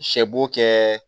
Sɛ bo kɛ